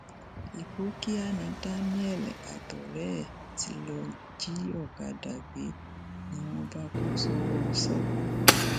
ipòkíà ni daniel àtọrẹ ẹ tí lọọ jí ọkadà gbé ni wọn bá kó sọwó sọ